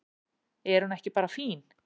Er hún ekki bara fín?